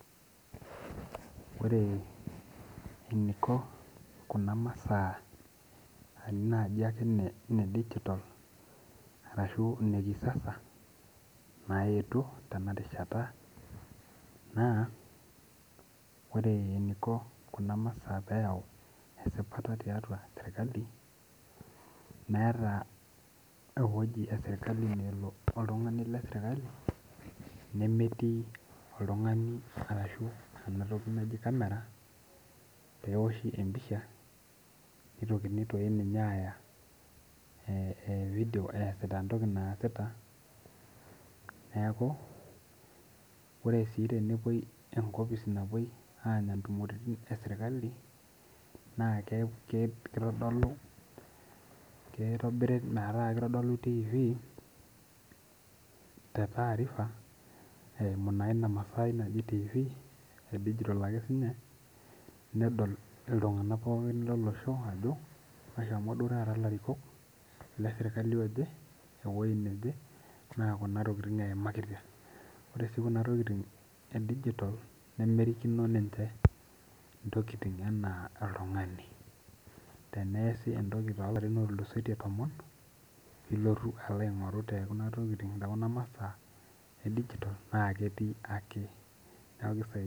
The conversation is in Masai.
Ore eniko kuna masaa naji ake neb digital ashu nekisasa naetuo tenarishata naore eniko kina masaa peyau esipata tiatua serkali na meeta ewoi nalo oltungani nemetii oltungani ashu enatoki naji kamera peoshi empisha nitokini aya fidio easita entoki naasita ore si peepuoi enkopis naje anya entumo eserkali na kitadolu tifi tetaarifa eimu na inamasai naji tifi e digital pedol ake sininye nedol ltunganak pookin lolosho eshomo duo ltunganak leserkali oje ewoi naje na entoki naje eimakitia ore si kuna tokitin nemerikino ninche ntokitin ana oltungani teneasa entoki tolarin tomon niloth ainguraa tokuna masaa na ketiu ake neaku kisaidia.